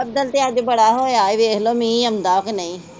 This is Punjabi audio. ਬੱਦਲ ਤੇ ਅੱਜ ਬੜਾ ਹੋਇਆ ਏ, ਵੇਖ ਲੋ ਮੀਹ ਆਦਾ ਕਿ ਨਹੀ